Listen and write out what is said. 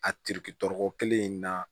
A tiriki tɔɔrɔko kelen in na